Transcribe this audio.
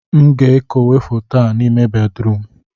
m ga-ekowe foto a n'ime bedrum